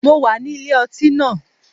Mo wà ní ilé ọtí náà.